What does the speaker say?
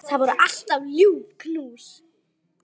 Það voru alltaf ljúf knús.